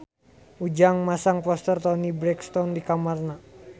Ujang masang poster Toni Brexton di kamarna